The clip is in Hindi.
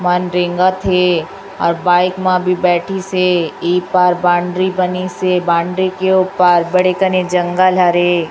मन रेंगत थे और बाइक मा बी बइठिसे। ई पार बांड्री बनिसे। बांड्री के ओ पार बड़े कने जंगल हरे।